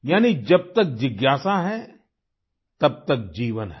यानी जब तक जिज्ञासा है तब तक जीवन है